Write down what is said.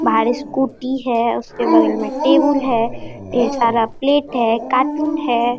बाहर स्कूटी है उसके बगल में टेबुल है ढेर सारा प्लेट है कार्टून है।